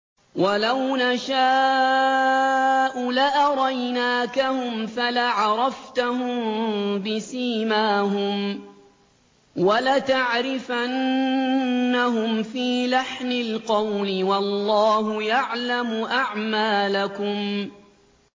وَلَوْ نَشَاءُ لَأَرَيْنَاكَهُمْ فَلَعَرَفْتَهُم بِسِيمَاهُمْ ۚ وَلَتَعْرِفَنَّهُمْ فِي لَحْنِ الْقَوْلِ ۚ وَاللَّهُ يَعْلَمُ أَعْمَالَكُمْ